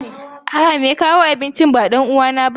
A'a, mai kawo abincin ba ɗan uwana bane.